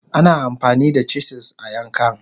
Ana amfani da chisels a yankan..